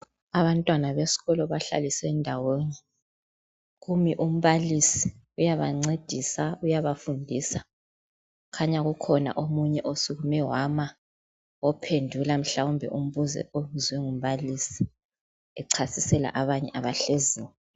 Abantwana beskolo bahlaliswe ndawonye. Kumi umbalisi, uyabancedisa, uyabafundisa. Kukhanya kukhona omunye osukume wama, ophendula mhlawumbe umbuzo obuzwe ngumbalisi, echasisela abanye abahleziyo.